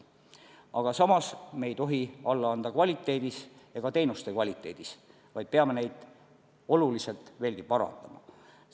Aga samas me ei tohi alla anda kvaliteedis, ka teenuste kvaliteedis, vaid peame neid oluliselt veelgi parandama.